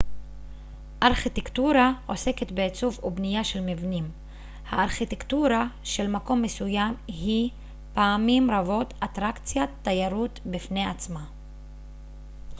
ארכיטקטורה עוסקת בעיצוב ובנייה של מבנים הארכיטקטורה של מקום מסוים היא פעמים רבות אטרקציה תיירותית בפני עצמה